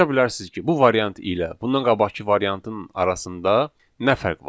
Soruşabilərsiz ki, bu variant ilə bundan qabaqkı variantın arasında nə fərq var?